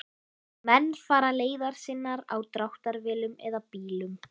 Menn fara leiðar sinnar á dráttarvélum eða bílum.